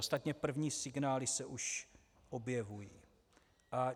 Ostatně první signály se už objevují.